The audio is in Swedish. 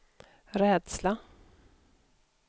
rädsla